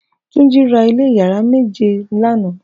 Tunji rà ilé iyàrá méjé lànã